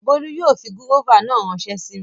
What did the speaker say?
Bólú yóò fi gúróvà náà ránsẹ́ sí mi